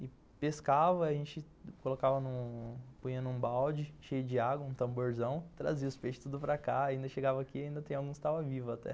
E pescava, a gente colocava, num punha num balde, cheio de água, um tamborzão, trazia os peixes tudo para cá, ainda chegava aqui e ainda tem alguns que estavam vivos até.